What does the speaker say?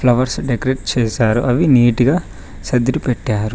Flowers decorate చేశారు అవి నీటుగా సర్దిరిపెట్టారు.